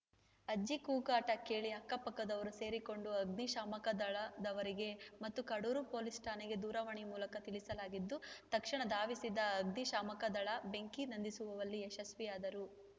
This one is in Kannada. ಅಜ್ಜಿ ಕೂಗಾಟ ಕೇಳಿ ಅಕ್ಕ ಪಕ್ಕದವರು ಸೇರಿಕೊಂಡು ಅಗ್ನಿಶಾಮಕದಳದವರಿಗೆ ಮತ್ತು ಕಡೂರು ಪೊಲೀಸ್‌ ಠಾಣೆಗೆ ದೂರವಾಣಿ ಮೂಲಕ ತಿಳಿಸಲಾಗಿದ್ದು ತಕ್ಷಣ ಧಾವಿಸಿದ ಅಗ್ನಿಶಾಮಕದಳ ಬೆಂಕಿ ನಂದಿಸುವಲ್ಲಿ ಯಶಸ್ವಿಯಾದರು